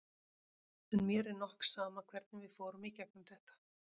En mér er nokk sama hvernig við fórum í gegnum þetta.